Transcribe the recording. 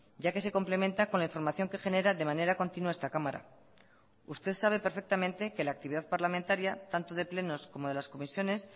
ya que se complementa con la información que genera de manera continua esta cámara usted sabe perfectamente que la actividad parlamentaria tanto de plenos como de las comisiones